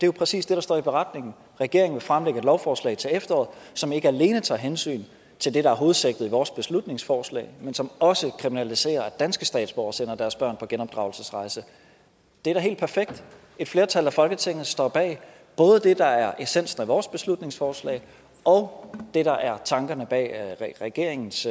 jo præcis det der står i beretningen regeringen vil fremsætte et lovforslag til efteråret som ikke alene tager hensyn til det der er hovedsigtet i vores beslutningsforslag men som også kriminaliserer at danske statsborgere sender deres børn på genopdragelsesrejse det er da helt perfekt et flertal af folketinget står bag både det der er essensen af vores beslutningsforslag og det der er tankerne bag regeringens